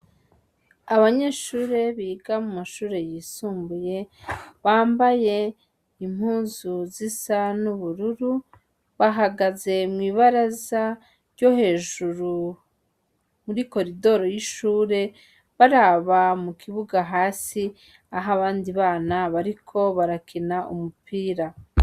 Abanyeshure biga mumashure yisumbuye bambaye impuzu zisa n'ubururu, bahagaze mw'ibaraza ryo hejuru muri koridoro y'ishure, baraba mukibuga hasi aho abandi bana bariko barakina umupira.